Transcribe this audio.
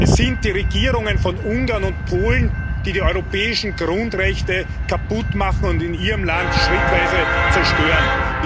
Es sind die Regierungen von Ungarn und Polen, die die europäischen Grundrechte kaputtmachen und in ihrem Land schrittweise zerstören.